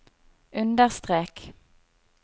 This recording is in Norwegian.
understrek